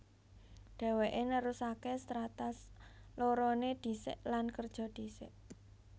Dhèwèké nerusaké Strata loroné ndhisik lan kerja ndhisik